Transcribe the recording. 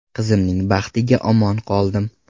Qizimning baxtiga omon qoldim.